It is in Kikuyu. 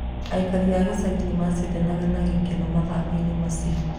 Aikari a gĩcagi nĩ macindanaga na gĩkeno mathako-inĩ macio.